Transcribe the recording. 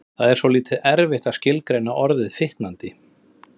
Það er svolítið erfitt að skilgreina orðið fitandi.